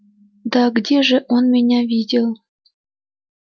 да где ж он меня видел